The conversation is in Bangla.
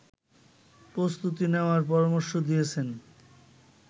প্রস্তুতি নেয়ার পরামর্শ দিয়েছেন